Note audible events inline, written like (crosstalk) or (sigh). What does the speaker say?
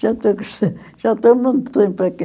(unintelligible) Já estou há muito tempo aqui.